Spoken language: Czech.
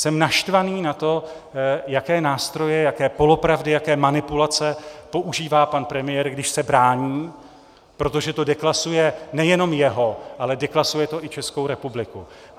Jsem naštvaný na to, jaké nástroje, jaké polopravdy, jaké manipulace používá pan premiér, když se brání, protože to deklasuje nejenom jeho, ale deklasuje to i Českou republiku.